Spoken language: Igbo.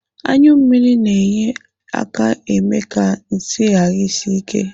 Anyụmmiri na-enye aka eme ka nsị ghara isi ike.